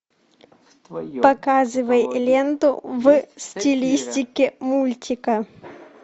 показывай ленту в стилистике мультика